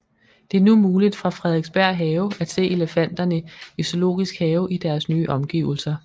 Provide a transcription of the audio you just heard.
Det er nu muligt fra Frederiksberg Have at se elefanterne i Zoologisk Have i deres nye omgivelser